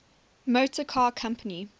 motor car company